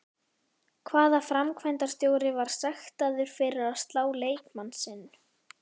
Hvaða framkvæmdarstjóri var sektaður fyrir að slá leikmann sinn?